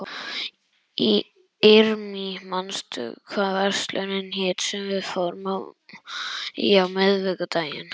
Irmý, manstu hvað verslunin hét sem við fórum í á miðvikudaginn?